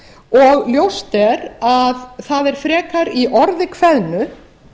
og ljóst er að það er frekar í orði kveðnu